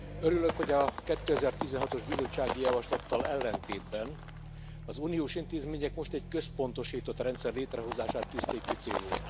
Örülök, hogy a 2016 os bizottsági javaslattal ellentétben az uniós intézmények most egy központosított rendszer létrehozását tűzték ki célul.